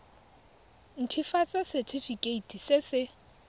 nt hafatsa setefikeiti se se